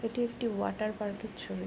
এটি একটি ওয়াটার পার্কের ছবি।